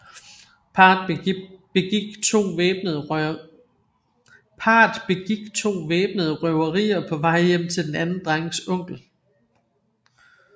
Parret begik to væbnede røverier på vej hjem til den anden drengs onkel